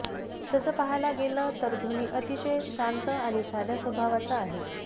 तसंच पाहायला गेलं तर धोनी अतिशय शांत आणि साध्या स्वभावाचा आहे